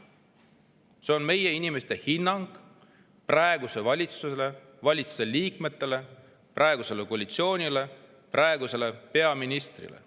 See on inimeste hinnang praegusele valitsusele, valitsuse liikmetele, praegusele koalitsioonile ja praegusele peaministrile.